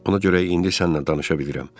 Ona görə indi sənnən danışa bilirəm.